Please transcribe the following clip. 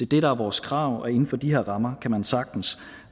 det der er vores krav og inden for de her rammer kan man sagtens